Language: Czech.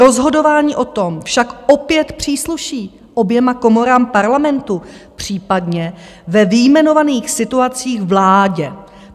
Rozhodování o tom však opět přísluší oběma komorám Parlamentu, případně ve vyjmenovaných situacích vládě.